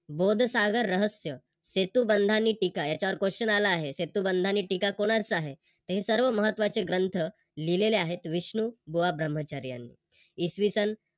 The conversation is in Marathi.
बोधसागर रहस्य सेतुबंधानी टीका याच्यावर Question आला आहे सेतुबंधांनी टीका कोणाचा आहे. हे सर्व महत्वाचे ग्रंथ लिहूलेले आहेत विष्णुबुवा ब्रह्मचारी यांनी. इसवी सन